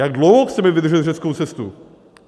Jak dlouho chceme vydržet řeckou cestu?